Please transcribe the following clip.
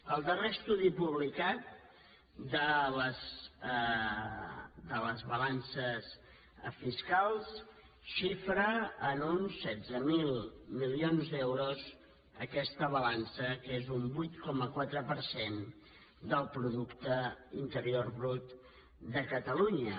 el darrer estudi publicat de les balances fiscals xifra en uns setze mil milions d’euros aquesta balança que és un vuit coma quatre per cent del producte interior brut de catalunya